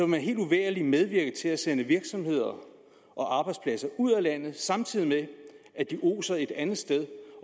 man uvægerlig medvirke til at sende virksomheder og arbejdspladser ud af landet samtidig med at de oser et andet sted